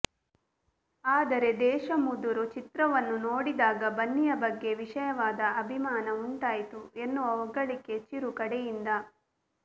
ಆದರೆ ದೇಶಮುದುರು ಚಿತ್ರವನ್ನು ನೋಡಿದಾಗ ಬನ್ನಿಯ ಬಗ್ಗೆ ವಿಶೇಷವಾದ ಅಭಿಮಾನ ಉಂಟಾಯಿತು ಎನ್ನುವ ಹೊಗಳಿಕೆ ಚಿರು ಕಡೆಯಿಂದ